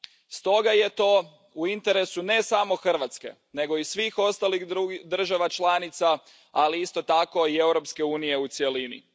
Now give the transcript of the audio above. Stoga je to u interesu ne samo Hrvatske, nego i svih ostalih država članica, ali isto tako i Europske unije u cjelini.